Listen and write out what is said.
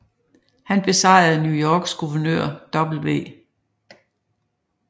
Han besejrede New Yorks guvernør W